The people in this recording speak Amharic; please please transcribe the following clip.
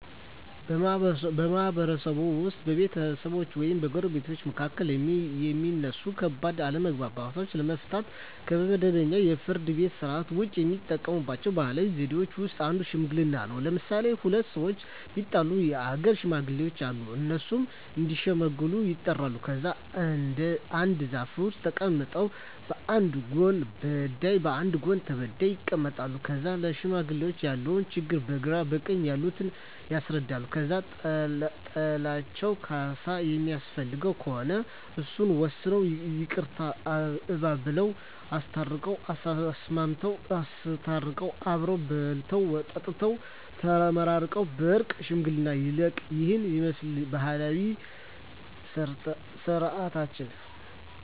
በማህበረሰብዎ ውስጥ በቤተሰቦች ወይም በጎረቤቶች መካከል የሚነሱ ከባድ አለመግባባቶችን ለመፍታት (ከመደበኛው የፍርድ ቤት ሥርዓት ውጪ) የሚጠቀሙባቸው ባህላዊ ዘዴዎች ውስጥ አንዱ ሽምግልና ነው። ለምሣሌ፦ ሁለት ሠዎች ቢጣሉ የአገር ሽማግሌዎች አሉ። እነሱ እዲሸመግሉ ይጠሩና ከዛ አንድ ዛፍ ስር ተቀምጠው በአንድ ጎን በዳይ በአንድ ጎን ተበዳይ ይቀመጣሉ። ከዛ ለሽማግሌዎች ያለውን ችግር በግራ በቀኝ ያሉት ያስረዳሉ። ከዛ ጥላቸው ካሣ የሚያስፈልገው ከሆነ እሱን ወስነው ይቅርታ አባብለው። አስታርቀው፤ አሳስመው፤ አሰተቃቅፈው አብረው በልተው ጠጥተው ተመራርቀው በእርቅ ሽምግልናው ያልቃ። ይህንን ይመስላል ባህላዊ ስርዓታችን።